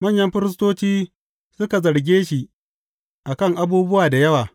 Manyan firistoci suka zarge shi a kan abubuwa da yawa.